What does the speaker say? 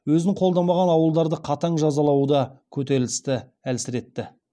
өзін қолдамаған ауылдарды қатаң жазалауы да көтерілісті әлсіретті